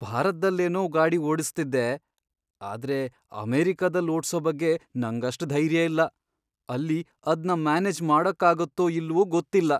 ಭಾರತ್ದಲ್ಲೇನೋ ಗಾಡಿ ಓಡ್ಸ್ತಿದ್ದೆ ಆದ್ರೆ ಅಮೆರಿಕಾದಲ್ಲ್ ಓಡ್ಸೋ ಬಗ್ಗೆ ನಂಗಷ್ಟ್ ಧೈರ್ಯ ಇಲ್ಲ. ಅಲ್ಲಿ ಅದ್ನ ಮ್ಯಾನೇಜ್ ಮಾಡಕ್ಕಾಗತ್ತೋ ಇಲ್ವೋ ಗೊತ್ತಿಲ್ಲ.